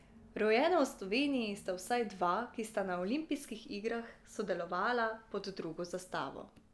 Rojena v Sloveniji sta vsaj dva, ki sta na olimpijskih igrah sodelovala pod drugo zastavo.